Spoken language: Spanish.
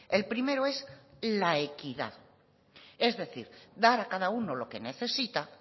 el primero es la equidad es decir dar a cada uno lo que necesita